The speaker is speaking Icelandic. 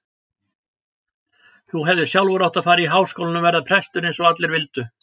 Þú hefðir sjálfur átt að fara í Háskólann og verða prestur eins og allir vildu.